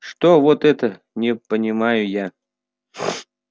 что вот это не понимаю я